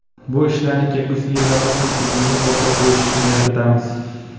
Bu ishlarni kelgusi yillarda ham tizimli yo‘lga qo‘yish niyatidamiz.